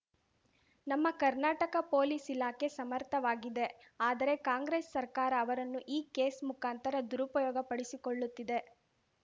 ನಮ್ಮ ಕರ್ನಾಟಕ ಪೊಲೀಸ್‌ ಇಲಾಖೆ ಸಮಥರ್‍ವಾಗಿದೆ ಆದರೆ ಕಾಂಗ್ರೆಸ್‌ ಸರ್ಕಾರ ಅವರನ್ನು ಈ ಕೇಸ್‌ ಮುಖಾಂತರ ದುರುಪಯೋಗಪಡಿಸಿಕೊಳ್ಳುತ್ತಿದೆ